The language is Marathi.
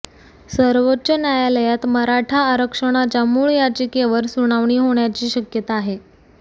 सर्वोच्च न्यायालयात मराठा आरक्षणाच्या मूळ याचिकेवर सुनावणी होण्याची शक्यता आहे